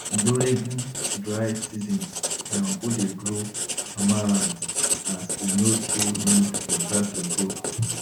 durign dry season my uncle dey grow amaranth as e no too need water to grow